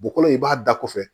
Bɔgɔ in i b'a da kɔfɛ